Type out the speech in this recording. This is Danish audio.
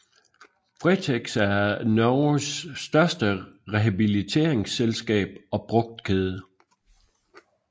Fretex er Norges største rehabiliteringsselskab og brugtkæde